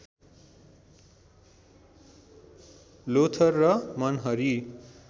लोथर र मनहरी